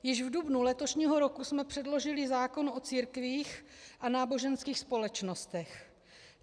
Již v dubnu letošního roku jsme předložili zákon o církvích a náboženských společnostech.